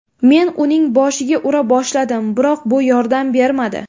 Men uning boshiga ura boshladim, biroq bu yordam bermadi.